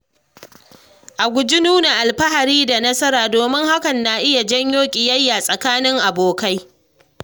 A guji nuna alfahari da nasara, domin hakan na iya jawo ƙiyayya tsakanin abokai.